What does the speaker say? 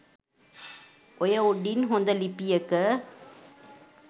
ඔය උඩින් හොඳ ලිපියක